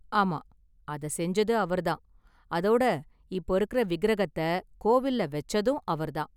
ஆமா அத செஞ்சது அவர் தான், அதோட இப்போ இருக்குற விக்கிரகத்தை கோவில்ல வெச்சதும் அவர் தான்.